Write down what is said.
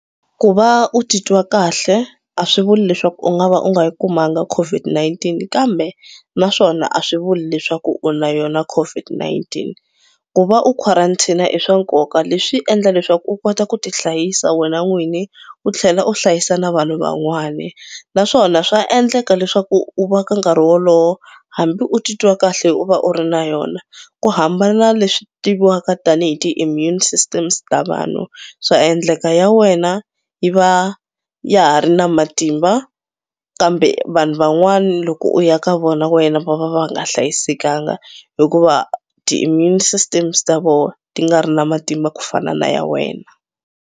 Ku va u titwa kahle a swi vuli leswaku u nga va u nga yi kumanga COVID-19 kambe naswona a swi vuli leswaku u na yona COVID-19. Ku va u quarantine-a i swa nkoka leswi endla leswaku u kota ku tihlayisa wena n'wini u tlhela u hlayisa na vanhu van'wani naswona swa endleka leswaku u va ka nkarhi wolowo hambi u titwa kahle u va u ri na yona. Ku hambana leswi tiviwaka tanihi ti-immune systems ta vanhu swa endleka ya wena yi va ya ha ri na matimba kambe vanhu van'wana loko u ya ka vona wena va va va nga hlayisekanga hikuva ti-immune systems ta vona ti nga ri na matimba ku fana na ya wena.